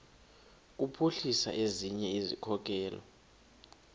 kuphuhlisa ezinye izikhokelo